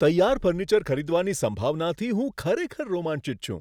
તૈયાર ફર્નિચર ખરીદવાની સંભાવનાથી હું ખરેખર રોમાંચિત છું.